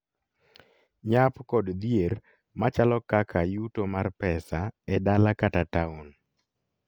Nyap kod dhier machalo kaka yuto mar pesa e dala kata town